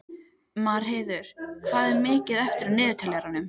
Marheiður, hvað er mikið eftir af niðurteljaranum?